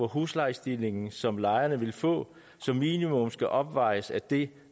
huslejestigningen som lejerne vil få som minimum skal opvejes af det